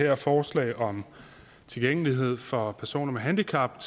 her forslag om tilgængelighed for personer med handicap